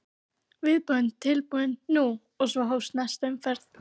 Viðbúinn, tilbúinn- nú! og svo hófst næsta umferð.